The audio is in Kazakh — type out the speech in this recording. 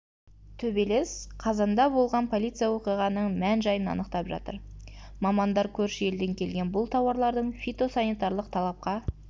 төбелес қазанда болған полиция оқиғаның мән-жайын анықтап жатыр мамандар көрші елден келген бұл тауарлардың фитосанитарлық талапқа